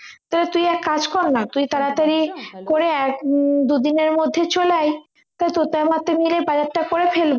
তো তুই এক কাজ করনা তুই তাড়া তাড়ি করে এক উম দু দিনের মধ্যে চলে আয় তো তোরটা আমারটা মিলে বাজারটা করে ফেলি